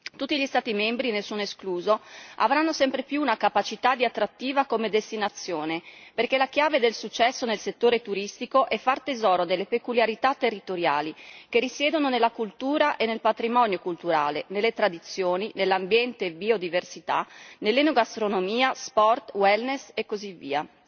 Tutti gli Stati membri, nessuno escluso, avranno sempre più una capacità di attrattiva come destinazione, perché la chiave del successo nel settore turistico è far tesoro delle peculiarità territoriali che risiedono nella cultura e nel patrimonio culturale, nelle tradizioni, nell'ambiente e biodiversità, nell'enogastronomia, sport, wellness e così via.